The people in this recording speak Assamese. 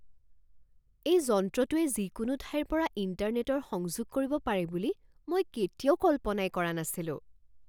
এই যন্ত্ৰটোৱে যিকোনো ঠাইৰ পৰা ইণ্টাৰনেটৰ সংযোগ কৰিব পাৰে বুলি মই কেতিয়াও কল্পনাই কৰা নাছিলো।